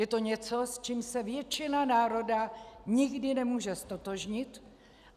Je to něco, s čím se většina národa nikdy nemůže ztotožnit.